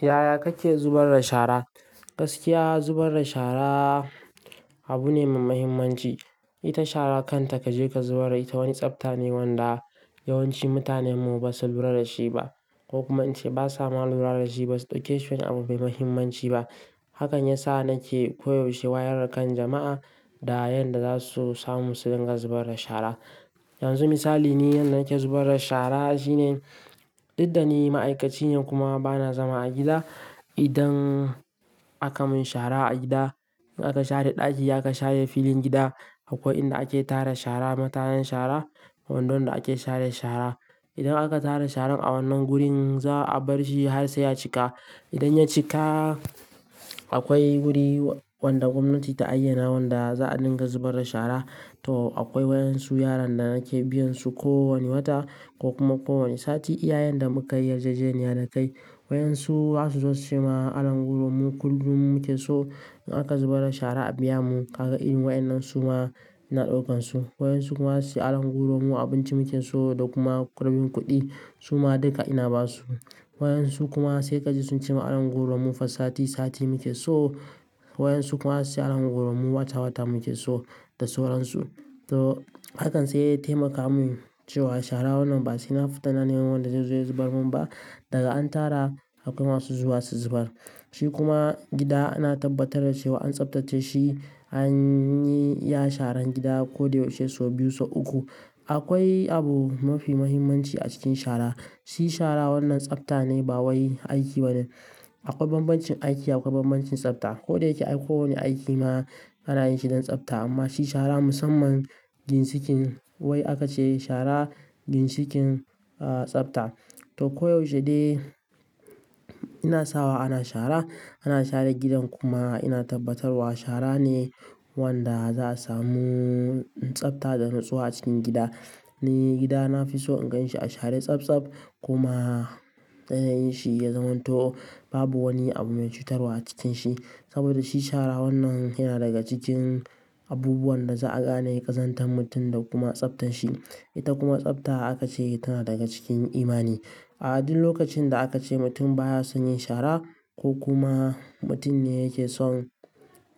Yaya kake zubar da shara? Gaskiya zubar da shara abu ne mai mahimmanci. Ita shara kanta kaje ka zubar ita wani tsafta ne wanda yawanci mutanen mu ba su lura da shi ba ko kuma ance ba sa ma lura da shi ba su ɗauke shi wani abu mai mahimmanci ba. Hakan ya sa nake koyaushe wayar da kan jama'a da yanda za su samu su dinga zubar da shara. Yanzu misali ni yanda nake zubar da shara shine, duk da ni ma'aikaci ne kuma bana zama a gida, idan aka mun shara a gida, in aka share ɗaki aka share filin gida akwai inda ake tara shara, matayan shara, kwandon da ake share shara. Idan aka tara sharan a wannan wurin za a bar shi har sai ya cika. Idan ya cika akwai wuri wanda gwamnati ta ayyana wanda za a dinga zubar da shara. To akwai wayan su yaran da nake biyan su ko wane wata ko kuma ko wane sati iya yanda muka yi yarjejeniya da kai. Wayan su za su zo sujima anan goro mu kullum muke so in aka zubar da shara a biya mu. Kaga irin wa'inan su ma ina ɗaukan su. Wayan su kuma su yi aron goro mu abinci muke so da kuma rabin kuɗi. Su ma dinka ina ba su. Wayan su kuma sai ka je suncema alan gubro mu fa sati sati muke so. Wayan su kuma su ce alan gubro mu wata wata muke so da sauransu. To hakan sai ya taimaka min cewa shara wannan ba sai na fita nanin wanda zai zo ya zubar mun ba. Daga an tara akwai masu zuwa su zubar. Shi kuma gida ana tabbatar da cewa an tsaftace shi an yi ya sharan gida ko dai yaushe sau biyu sau uku. Akwai abu mafi muhimmanci a cikin shara. Shi shara wannan tsafta ne ba wai aiki bane. Akwai banbancin aiki akwai banbancin tsafta. Ko da yake ko wane aiki ma ana yin shi don tsafta amma shi shara musamman ginsikin wai haka ce shara ginsikin, ah, tsafta. To koyaushe de ina sawa ana shara, ana share gidan kuma ina tabbatarwa shara ne wanda za a samu tsafta da nutsuwa a cikin gida. Ni gidana fi so in gan shi a share tsabtsab kuma yanayin shi ya zama to. Babu wani abu mai cutarwa a cikin shi. Saboda shi shara wannan yana daga cikin abubuwan da za'a gane ƙazantar mutum da kuma tsaftan shi. Ita kuma tsafta haka ce tana daga cikin imani. A duk lokacin da aka ce mutum baya son yin shara ko kuma mutum ne yake son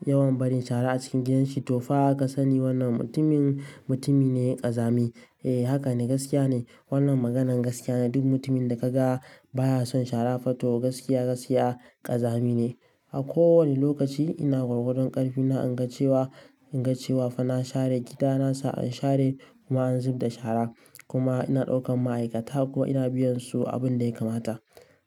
yawan bari shara a cikin gidan shi to fa aka sani wannan mutumin mutumi ne ƙazami. Eh, haka ne gaskiya ne. Wannan maganan gaskiya ne. Duk mutumin da ka ga baya son shara fa to gaskiya gaskiya ƙazami ne. A ko wane lokaci ina gwargwadon ƙarfi na inga cewa, inga cewa fa na share gida na sa an share kuma an zub da shara kuma ina ɗaukan ma'aikata kuma ina biyan su abin da ya kamata.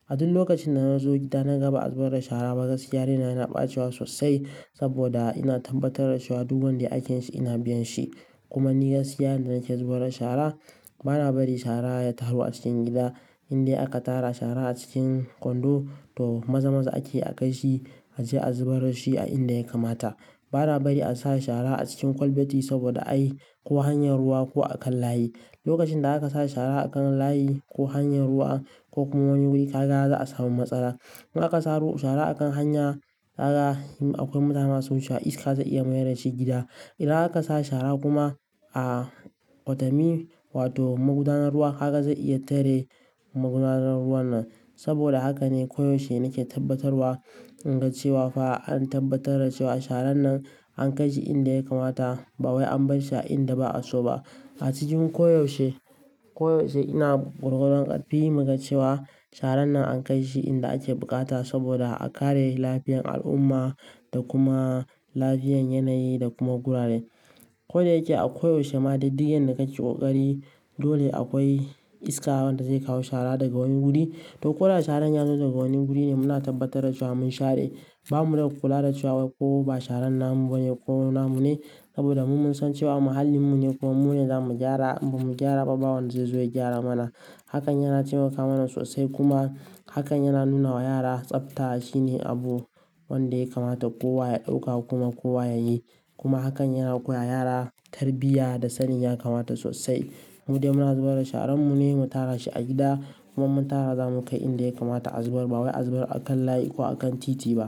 A duk lokacin da na zo gida na ga ba'a zubar da shara ba gaskiya raina yana bacewa sosai saboda ina tabbatar da cewa duk wanda yake yin shi ina biyan shi. Kuma ni gaskiya yanda nake zubar da shara bana bari shara ya taru a cikin gida. Inde aka tara shara a cikin kwando to maza-maza ake a kai shi ace a zubarar shi a inda ya kamata. Bana bari a sare shara a cikin kwalbati saboda ai ko hanyar ruwa ko a kan layi. Lokacin da aka sare shara a kan layi ko hanyar ruwa ko kuma wani wuri kaga za a samu matsala. In aka sa ro shara a kan hanya kaga in akwai mutane masu wucewa iska za iya mayar da shi gida. Ida aka sa shara kuma a kwatami wato magudanar ruwa kaga zai iya tare magudanar ruwan nan. Saboda haka ne koyaushe nake tabbatarwa inga cewa fa an tabbatar da cewa sharan nan an kai shi inda ya kamata ba wai an bar shi a inda ba'a so ba. A cikin koyaushe, koyaushe ina gwargwadon ƙarfi niga cewa sharan nan an kai shi inda ake buƙata saboda a kare lafiyan al'umma da kuma lafiyan yanayi da kuma gurare. Ko da yake a koyaushe ma duk duk inda ka ci kokari dole akwai iska wadda zai kawo shara daga wani guri. To ko da sharan ya zo daga wani guri ne muna tabbatar da cewa mun share. Ba mu da kula da cewa wai ko ba sharan namu bane ko namu ne saboda mu mun san cewa muhallin mu ne kuma mu ne za mu gyara. Mu ba mu gyara ba bawani zai zo ya gyara mana. Hakan yana taimaka mana sosai kuma hakan yana nuna wa yara tsafta shine abu wanda ya kamata kowa ya ɗauka kuma kowa ya yi. Kuma hakan yana koya wa yara tarbiyya da sanin ya kamata sosai. Mu dai muna zubar da sharan mu ne mu tara shi a gida kuma mun tara za mu kai inda ya kamata a zubar ba wai a zubar a kan layi ko a kan titi ba.